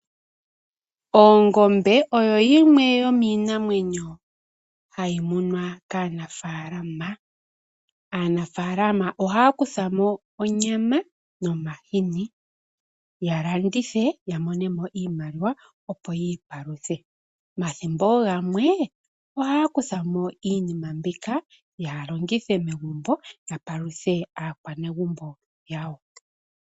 Ongombe oyo yimwe yomiinamwenyo hayi munwa kaanaafalama. Aanafaalama ohaya kuthamo onyama nomahini, ya landithe yamonemo iimaliwa opo yiipaluthe. Omathimbo gamwe ohaya kutha mo iinima mbika ya longithe megumbo yapaluthe aakwanezimo yawo.